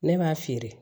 Ne b'a feere